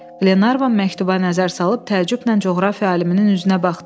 Klenarvan məktuba nəzər salıb təəccüblə coğrafiya aliminin üzünə baxdı.